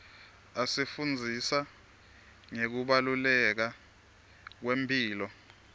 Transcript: asifundzisa ngekubaluleka kwemphilo